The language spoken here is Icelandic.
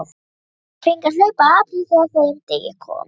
Margir fengu að hlaupa apríl þegar að þeim degi kom.